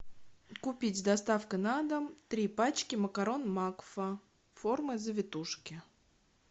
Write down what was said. купить с доставкой на дом три пачки макарон макфа формы завитушки